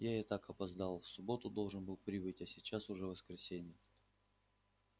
я и так опоздал в субботу должен был прибыть а сейчас уже воскресенье